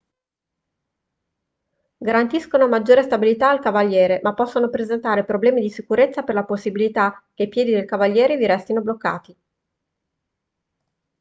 garantiscono maggiore stabilità al cavaliere ma possono presentare problemi di sicurezza per la possibilità che i piedi del cavaliere vi restino bloccati